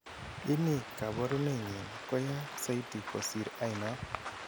ini kaparunenyin koya saiti kosir anon?